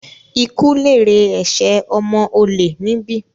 Ikú lèrè ẹ̀sẹ̀ ọmọ olè níbí!